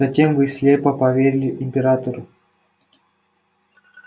затем вы слепо поверили императору